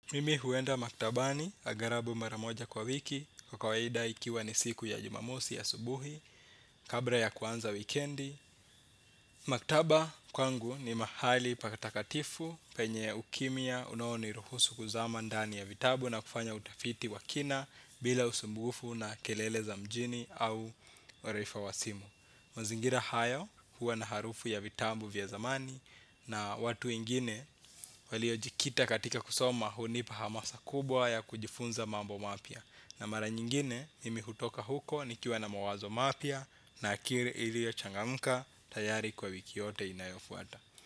Mimi huenda maktabani agharabu mara moja kwa wiki kwa kawaida ikiwa ni siku ya jumamosi ya asubuhi, kabla ya kuanza wikendi. Maktaba kwangu ni mahali pakatakatifu penye ukimia unaoniruhusu kuzama ndani ya vitabu na kufanya utafiti wa kina bila usumbufu na kelele za mjini au uraifa wa simu. Mazingira hayo huwa na harufu ya vitabu vya zamani na watu wengine waliojikita katika kusoma hunipa hamasa kubwa ya kujifunza mambo mapya. Na mara nyingine mimi hutoka huko nikiwa na mawazo mapya na akili iliochangamuka tayari kwa wiki yote inayofuata.